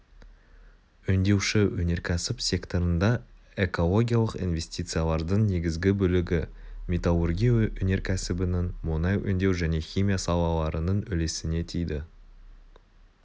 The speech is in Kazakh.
өңдеуші өнеркәсіп секторында экологиялық инвестициялардың негізгі бөлігі металлургия өнеркәсібінің мұнай өңдеу және химия салаларының үлесіне тиді